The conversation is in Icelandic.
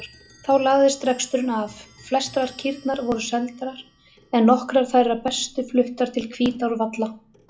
Þá lagðist reksturinn af, flestar kýrnar voru seldar en nokkrar þær bestu fluttar til Hvítárvalla.